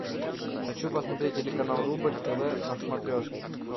хочу посмотреть телеканал рубль тв на смотрешке